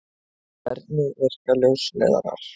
Hvernig virka ljósleiðarar?